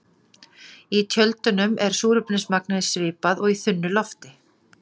Í tjöldunum er súrefnismagnið svipað og í þunnu lofti.